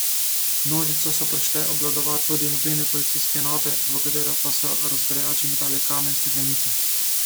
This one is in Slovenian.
Množico so prišle obvladovat tudi mobilne policijske enote, v katere pa so razgrajači metali kamne in steklenice.